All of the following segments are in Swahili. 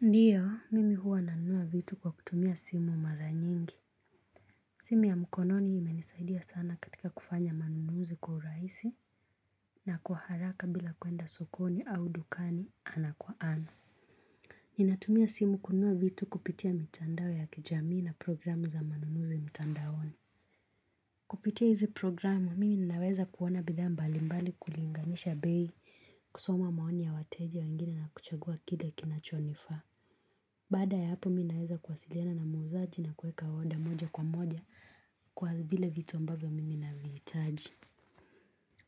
Ndiyo, mimi huwa nanunua vitu kwa kutumia simu mara nyingi. Simu ya mkononi imenisaidia sana katika kufanya manunuzi kwa uraisi na kwa haraka bila kwenda sokoni au dukani ana kwa ana. Ninatumia simu kunua vitu kupitia mitandao ya kijamii na programu za manunuzi mitandaoni. Kupitia hizi programu, mimi ninaweza kuona bidhaa mbali mbali kulinganisha bei, kusoma maoni ya wateja wengine na kuchagua kile kinachonifaa. Baada ya hapo minaeza kwasiliana na muzaji na kweka order moja kwa moja kwa vile vitu ambavyo mimi naviitaji.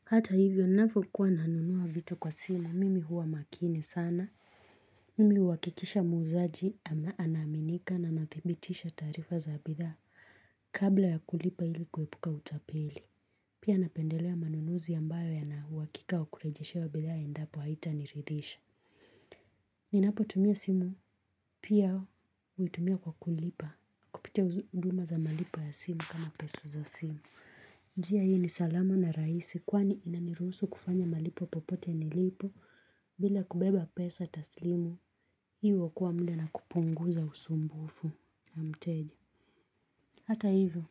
Hata hivyo nafokuwa nanunua vitu kwa simu, mimi huwa makini sana. Mimi uakikisha muuzaji ama anaaminika na nadhibitisha taarifa za bithaa kabla ya kulipa ili kuepuka utapeli. Pia napendelea manunuzi ambayo yanauakika wa kurejeshewa bithaa endapo haitaniridhisha. Ninapo tumia simu, pia uitumia kwa kulipa, kupitia uduma za malipo ya simu kama pesu za simu. Njia hii ni salama na raisi, kwani inaniruusu kufanya malipo popote nilipo, bila kubeba pesa taslimu, hii uokoa mda na kupunguza usumbufu na mteja. Hata hivyo,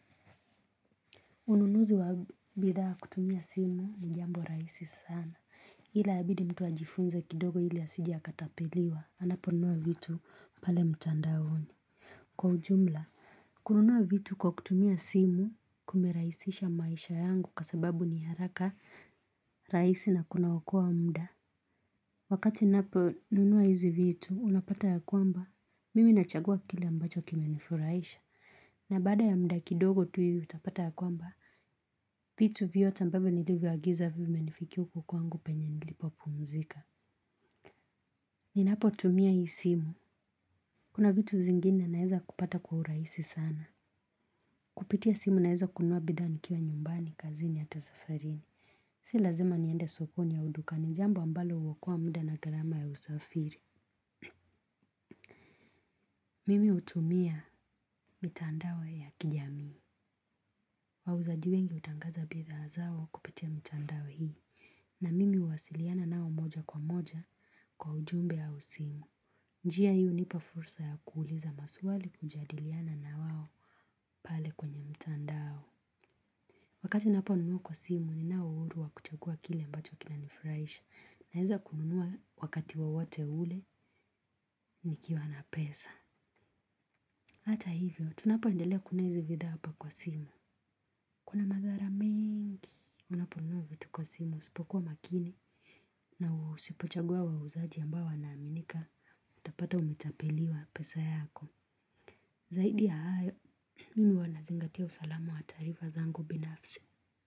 ununuzi wa bidhaa kutumia simu ni jambo raisi sana. Hila abidi mtu ajifunze kidogo hili asije akatapeliwa, anaponunua vitu pale mtandaoni. Kwa ujumla, kununua vitu kwa kutumia simu kumeraisisha maisha yangu kwa sababu ni haraka raisi na kuna wokoa mda. Wakati nnapo nunua hizi vitu, unapata ya kwamba, mimi nachagua kile ambacho kimenifuraisha. Na baada ya mda kidogo tu ivi utapata ya kwamba, vitu vyote ambavyo nilivyo agiza vimenifikia uku kwangu penye nilipopumzika. Ninapo tumia hii simu. Kuna vitu zingine naeza kupata kwa uraisi sana. Kupitia simu naeza kununua bidhaa nikiwa nyumbani, kazini ata safarini. Si lazima niende sokoni au dukani, jambo ambalo uokoa muda na garama ya usafiri. Mimi utumia mitandao ya kijami. Wauzaji wengi utangaza bidhaa zao kupitia mitandoa hii. Na mimi uwasiliana nao moja kwa moja kwa ujumbe au simu. Njia hii unipa fursa ya kuuliza maswali kujadiliana nawao pale kwenye mtandao. Wakati nnaponunua kwa simu, ninao uuru wa kuchagua kile ambacho kinanifraisha. Naeza kunua wakati wowote ule, nikiwa na pesa. Hata hivyo, tunapo endelea kunnunua izi vithaa hapa kwa simu. Kuna madhara mengi. Unaponunua vitu kwa simu, usipokuwa makini na usipochagua wauzaji ambao wanaaminika. Utapata umetapeliwa pesa yako. Zaidi ya hayo, mimi ua nazingatia usalamu wa taarifa zangu binafsi.